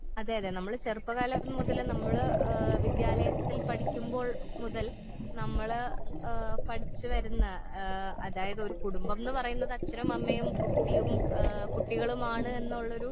അതെയതെ നമ്മള് ചെറുപ്പ കാലം മുതലേ നമ്മള് ഏ വിദ്യാലയത്തിൽ പഠിക്കുമ്പോൾ മുതൽ നമ്മള് ആ പഠിച്ചു വരുന്ന ആ അതായത് ഒരു കുടുംബംന്ന് പറയുന്നത് അച്ഛനും അമ്മയും കുട്ടിയും ആ കുട്ടികളുമാണ് എന്നുള്ളൊരു.